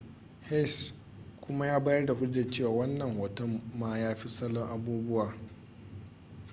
hsieh kuma ya bayar da hujjar cewa wannan hoton ma ya fi salo abubuwa